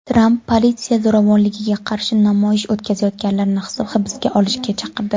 Tramp politsiya zo‘ravonligiga qarshi namoyish o‘tkazayotganlarni hibsga olishga chaqirdi.